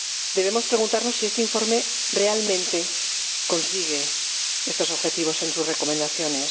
Debemos preguntarnos si este informe realmente consigue estos objetivos en sus recomendaciones.